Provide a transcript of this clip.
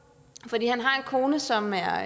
fordi han har en kone som er